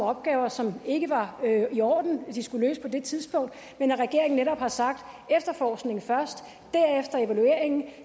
opgaver som det ikke var i orden at de skulle løse på det tidspunkt men at regeringen netop har sagt efterforskningen først derefter evalueringen og